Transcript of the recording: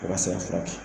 O ka se ka furakɛ